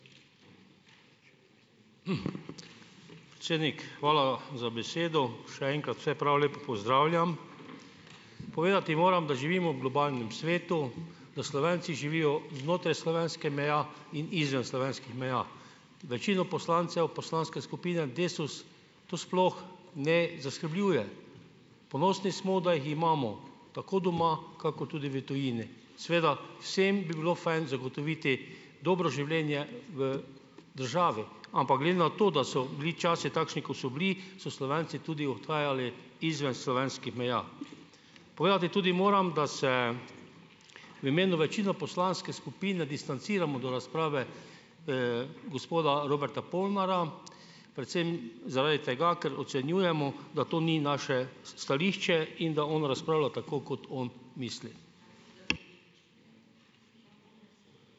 Predsednik, hvala za besedo. Še enkrat vse prav lepo pozdravljam. Povedati moram, da živimo v globalnem svetu, da Slovenci živijo znotraj slovenske meje in izven slovenskih meja. Večino poslancev poslanske skupine DeSUS to sploh ne zaskrbljuje. Ponosni smo, da jih imamo, tako doma kakor tudi v tujini. Seveda, vsem bi bilo fajn zagotoviti dobro življenje v državi, ampak glede na to, da so bili časi takšni, kot so bili, so Slovenci tudi odhajali izven slovenskih meja. Povedati tudi moram, da se v imenu večine poslanske skupine distanciramo do razprave, gospoda Roberta Polnarja, predvsem zaradi tega, ker ocenjujemo, da to ni naše stališče in da on razpravlja, tako kot on misli.